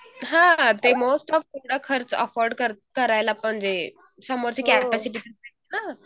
हां ते most of एवढं खर्च अफोर्ड करायला पण जे समोरचे हं